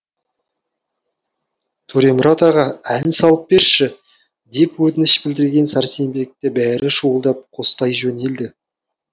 төремұрат аға ән салып берші деп өтініш білдірген сәрсенбекті бәрі шуылдап қостай жөнелді